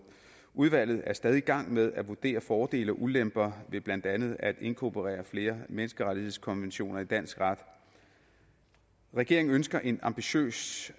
udvalget er stadig i gang med at vurdere fordele og ulemper ved blandt andet at inkorporere flere menneskerettighedskonventioner i dansk ret regeringen ønsker en ambitiøs